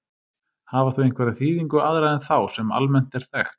Hafa þau einhverja þýðingu aðra en þá, sem almennt er þekkt?